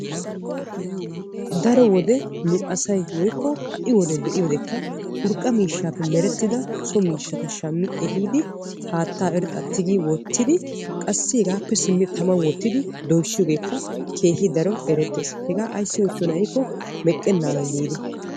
Daro wode nu asay woykko ha"i wode be'iyoodekka urqqa miishshaappe merettida so miishshata shammi ehiidi haattaa irxxaa tigi wottidi qassi hegaappe simmi taman wottidi doyssiyoogeekka keehi daro erettees. Hegaa ayssi oottiyoonaa giikko meqqennaadan giidi.